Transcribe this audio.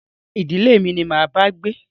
Rárá, ìdílé mi ni máa bá gbé